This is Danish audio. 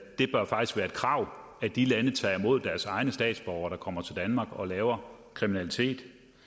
krav at de lande tager imod deres egne statsborgere der kommer til danmark og laver kriminalitet